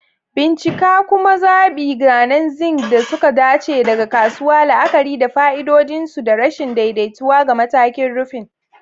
Bincika kuma zaɓi zanen zinc da suka dace daga kasuwa, la'akari da fa'idodin su da rashin daidaituwa ga matakin rufin.